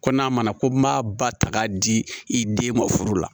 Ko n'a mana ko m'a ba ta k'a di i den ma furu la